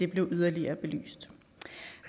blev yderligere belyst